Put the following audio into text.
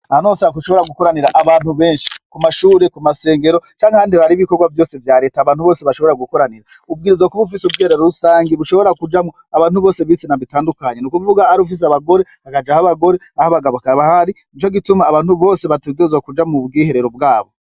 Aha nosak ushobora gukoranira abantu benshi ku mashure ku masengero canke ahandi baribikorwa vyose vya leta abantu bose bashobora gukoranira ubwirizwa kuba ufise ubwiherero rusange ibushobora kujamwo abantu bose bitsina bitandukanye ni ukuvuga ari ufise abagore akaja aho abagore aho abagabo kabahari ni co gituma abantu bose batedozwa kuja mu bwiherero bwabo.